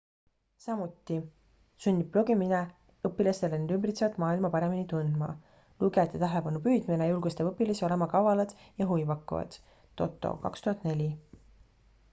"samuti "sunnib blogimine õpilastel end ümbitsevat maailma paremini tundma"". lugejate tähelepanu püüdmine julgustab õpilasi olema kavalad ja huvipakkuvad toto 2004.